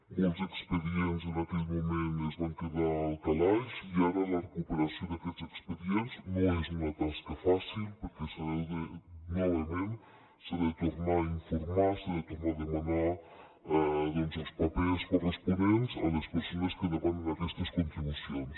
molts expedients en aquell moment es van quedar al calaix i ara la recuperació d’aquests expedients no és una tasca fàcil perquè novament s’ha de tornar a informar s’ha de tornar a demanar els papers corresponents a les persones que demanen aquestes contribucions